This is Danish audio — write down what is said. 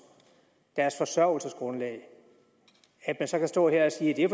deres forsørgelsesgrundlag så kan stå her og sige at